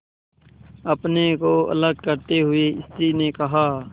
अपने को अलग करते हुए स्त्री ने कहा